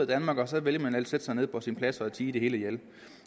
danmark og så vælger man at sætte sig nede på sin plads og forsøge at tie det hele ihjel